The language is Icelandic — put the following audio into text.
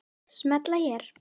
Smella hér